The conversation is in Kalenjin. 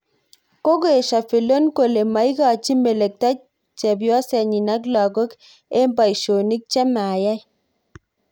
Kokoesyo Fillon kole maigachi melekto chebyosenyi ak lagook eng boisyonik che mayai